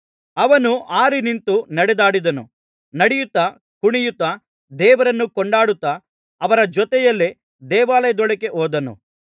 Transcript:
ಅವನು ಹಾರಿ ನಿಂತು ನಡೆದಾಡಿದನು ನಡೆಯುತ್ತಾ ಕುಣಿಯುತ್ತಾ ದೇವರನ್ನು ಕೊಂಡಾಡುತ್ತಾ ಅವರ ಜೊತೆಯಲ್ಲಿ ದೇವಾಲಯದೊಳಗೆ ಹೋದನು